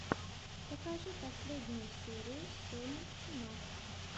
покажи последнюю серию сони тимак